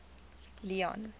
leone